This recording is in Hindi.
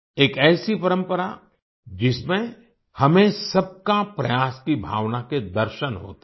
एक ऐसी परंपरा जिसमें हमें सबका प्रयास की भावना के दर्शन होते हैं